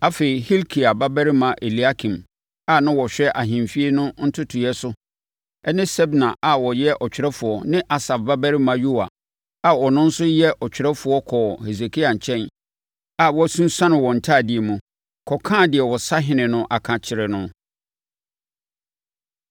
Afei, Hilkia babarima Eliakim a na ɔhwɛ ahemfie no ntotoeɛ so ne Sebna a na ɔyɛ ɔtwerɛfoɔ ne Asaf babarima Yoa a ɔno nso yɛ ɔtwerɛfoɔ kɔɔ Hesekia nkyɛn a wɔasunsuane wɔn ntadeɛ mu, kɔkaa deɛ ɔsahene no aka kyerɛɛ no.